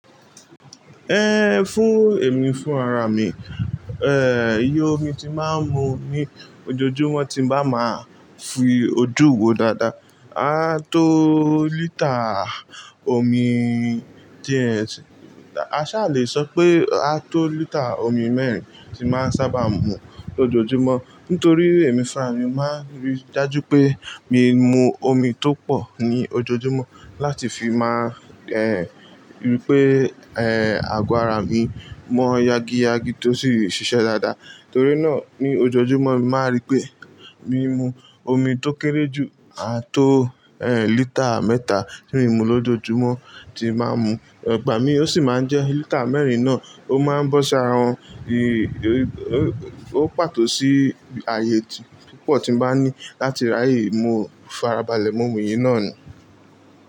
Ehn, fún èmi fún rárá mi, eh, iye omi tí máa ń mu ní ojoojúmọ́ tí ń bá máa fi ojú wó dáadáa, a tó lítà omi díẹ̀, a ṣà lè sọ pé a tó lítà omi mẹ́rin tí máa ń sábà mu lójoojúmọ́. Nítorí èmi fún ara mi mo máa ń rí dájú pé mi mu omi tó pọ̀ ní ojoojúmọ́ láti fi máa, eh, rí pé, eh, àgọ́ ara mi mọ́ yagi yagi tó sì ṣiṣẹ́ dáadáa. Nítorí náà ní ojoojúmọ́ mo màá n rí pé mi mu omi tó kéré jù à tó, eh, lítà mẹ́ta tí ń mu lójoojúmọ́ tí màá ń mu. Ìgbà mi ó sì máa ń jẹ lítà mẹ́rin náà, ó máa ń bọ́ṣi árawon ó pàtó sí ààyè púpọ̀ tí ń bá ní láti ráyè mu farabalẹ̀, mu omi yìí náà ni.